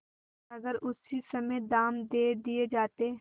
अगर उसी समय दाम दे दिये जाते